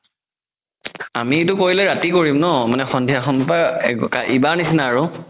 আমিতো কৰিলে ৰাতি কৰিম ন মানে সন্ধিয়া ইবাৰৰ নিচিনা আৰু